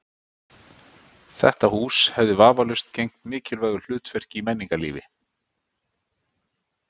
Þetta hús hefði vafalaust gegnt mikilvægu hlutverki í menningarlífi